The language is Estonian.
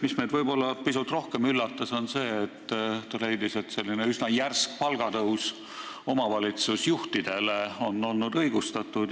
Mis meid pisut rohkem üllatas, on see, et ta leidis, et üsna järsk palgatõus omavalitsusjuhtidele on olnud õigustatud.